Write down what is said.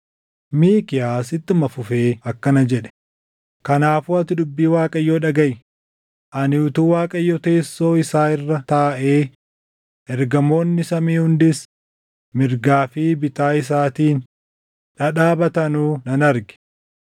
Miikiyaas ittuma fufee akkana jedhe; “Kanaafuu ati dubbii Waaqayyoo dhagaʼi; ani utuu Waaqayyo teessoo isaa irra taaʼee, ergamoonni samii hundis mirgaa fi bitaa isaatiin dhadhaabatanuu nan arge.